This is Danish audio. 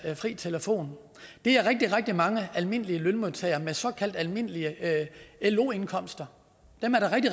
fri telefon er rigtig rigtig mange almindelige lønmodtagere med såkaldt almindelige lo indkomster